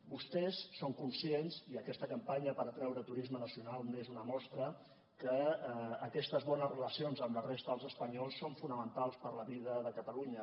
vostès són conscients i aquesta campanya per atreure turisme nacional n’és una mostra que aquestes bones relacions amb la resta dels espanyols són fonamentals per a la vida de catalunya